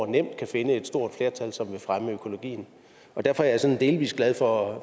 nemt kan finde et stort flertal som vil fremme økologien derfor er jeg sådan delvis glad for